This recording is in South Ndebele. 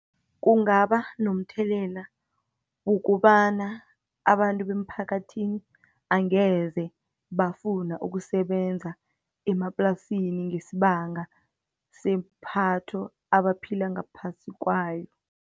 Kungaba nomthelela, wokobana abantu bemphakathini, angeze bafuna ukusebenza emaplasini, ngesibanga sepatho, abaphila ngaphasi kwayo.